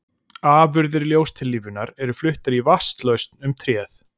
Afurðir ljóstillífunar eru fluttar í vatnslausn um tréð.